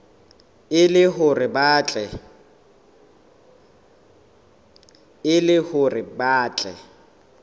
e le hore ba tle